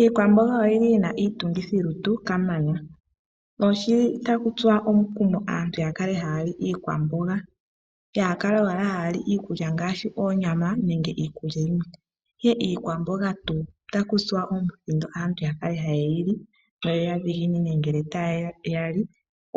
Iikwamboga oyina iitungithilutu kamana. Otaku tsuwa omukumo aantu yakale hayali iikwamboga yaakale owala hayali oonyama niikulya yilwe, ihe iikwamboga tuu otaya kutsa omukumo yake hayeyili noyadhiginine ngele tayali